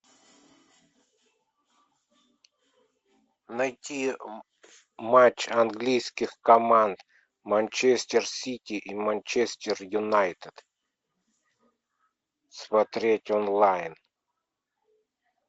найти матч английских команд манчестер сити и манчестер юнайтед смотреть онлайн